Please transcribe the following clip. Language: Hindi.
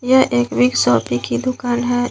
यह एक बिग शॉपी की दुकान है।